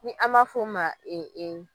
Ni a ma fɔ ma ee ee.